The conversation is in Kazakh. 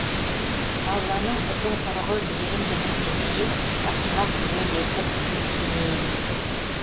алланың ұзын құрығы мейірімдінің мерейін асырмақ түгел етіп кенейін